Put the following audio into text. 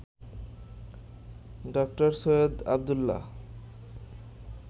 ড. সৈয়দ আবদুল্লাহ